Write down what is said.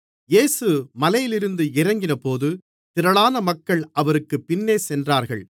இயேசு மலையிலிருந்து இறங்கினபோது திரளான மக்கள் அவருக்குப் பின்னே சென்றார்கள்